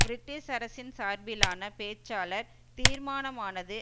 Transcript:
British அரசின் சார்பிலான பேச்சாளர் தீர்மானமானது